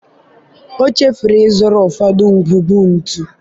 ọ chefuru ịzụrụ ụfọdụ ngwugwu ntu.